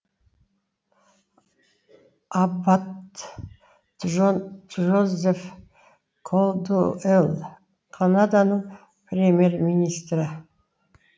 аббат джон джозеф колдуэл канаданың премьер министрі